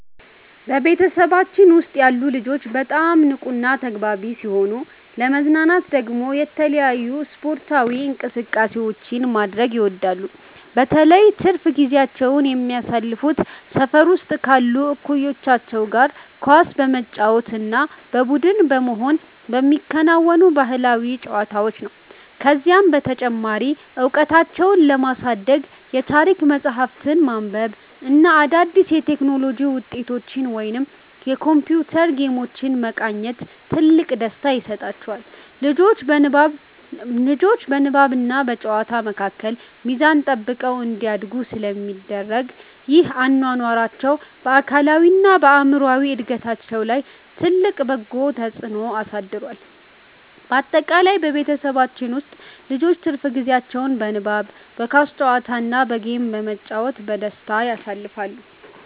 በቤተሰባችን ውስጥ ያሉ ልጆች በጣም ንቁና ተግባቢ ሲሆኑ፣ ለመዝናናት ደግሞ የተለያዩ ስፖርታዊ እንቅስቃሴዎችን ማድረግ ይወዳሉ። በተለይ ትርፍ ጊዜያቸውን የሚያሳልፉት ሰፈር ውስጥ ካሉ እኩዮቻቸው ጋር ኳስ በመጫወት እና በቡድን በመሆን በሚከወኑ ባህላዊ ጨዋታዎች ነው። ከዚህም በተጨማሪ እውቀታቸውን ለማሳደግ የታሪክ መጽሐፍትን ማንበብ እና አዳዲስ የቴክኖሎጂ ውጤቶችን ወይም የኮምፒውተር ጌሞችን መቃኘት ትልቅ ደስታ ይሰጣቸዋል። ልጆቹ በንባብና በጨዋታ መካከል ሚዛን ጠብቀው እንዲያድጉ ስለሚደረግ፣ ይህ አኗኗራቸው በአካላዊና በአእምሮ እድገታቸው ላይ ትልቅ በጎ ተጽዕኖ አሳድሯል። ባጠቃላይ በቤተሰባችን ውስጥ ልጆች ትርፍ ጊዜያቸውን በንባብ፣ በኳስ ጨዋታ እና በጌም በመጫወት በደስታ ያሳልፋሉ።